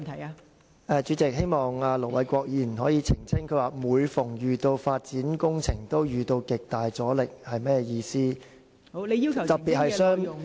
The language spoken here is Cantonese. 代理主席，盧偉國議員剛才說："每逢有發展項目，均會遇到極大阻力"，這句話是甚麼意思呢？